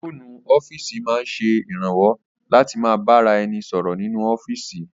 Fóònù ọ́fíìsì máa ń ṣe ìrànwọ́ láti ma bá ra ẹni sọ̀rọ̀ nínú ọ́fíìsì